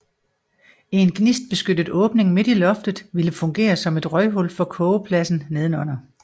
En gnistbeskyttet åbning midt i loftet ville fungere som et røghul for kogepladsen nedenunder